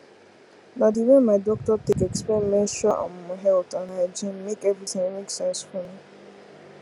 na the way my doctor take explain menstrual um health and hygiene make everything make sense for me